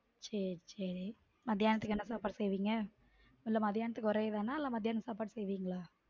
சேரி சேரி மத்தியானத்துக்கு என்ன சாப்பாடு செய்விங்க இல்ல மத்தியானத்துக்கு ஒரே இது தான் நா இல்ல மதியான சாப்பாடு செய்விங்களா?